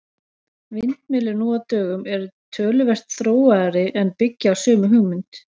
Vindmyllur nú á dögum eru töluvert þróaðri en byggja á sömu hugmynd.